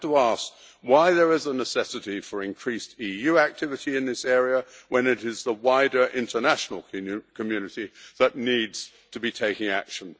We have to ask why there is a necessity for increased EU activity in this area when it is the wider international community that needs to be taking action.